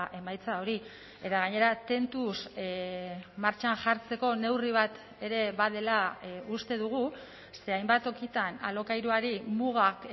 emaitza hori eta gainera tentuz martxan jartzeko neurri bat ere badela uste dugu ze hainbat tokitan alokairuari mugak